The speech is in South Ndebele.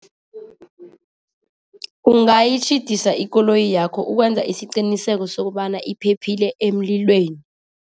Ungayitjhidisa ikoloyi yakho ukwenza isiqiniseko sokobana iphephile emlilweni.